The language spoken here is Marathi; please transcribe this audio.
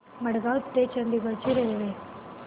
मडगाव ते चंडीगढ ची रेल्वे